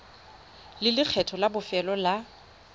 le lekgetho la bofelo la